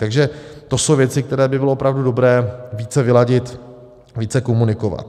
Takže to jsou věci, které by bylo opravdu dobré více vyladit, více komunikovat.